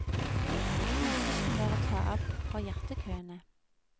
Hensikten var å ta av for hjertekøene.